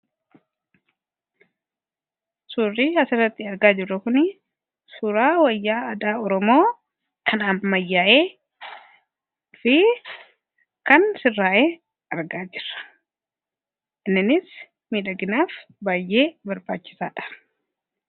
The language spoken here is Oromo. suurrii hasarratti argaa jirru kun suraa wayyaa adaa oromoo kanaamayyaa'ee fi kan sirraa'ee argaa jirra inninis midhaginaaf baayyee barbaachisaadha